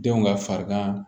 Denw ka farigan